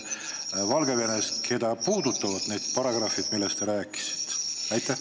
Kui paljusid meie inimesi puudutavad need paragrahvid, millest te rääkisite?